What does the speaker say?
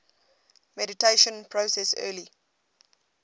mediation process early